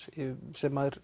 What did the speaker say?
sem